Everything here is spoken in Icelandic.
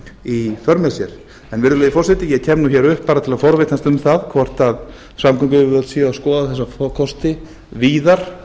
í för með sér en virðulegi forseti ég kem nú hér upp bara til að forvitnast um það hvort samgönguyfirvöld séu að skoða þessa tvo kosti víðar